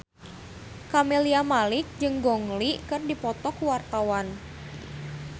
Camelia Malik jeung Gong Li keur dipoto ku wartawan